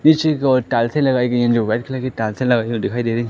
पीछे की ओर टाइल्सें लगाई गई है जो वाइट कलर की टाइल्सें लगाई हुई दिखाई दे रहीं --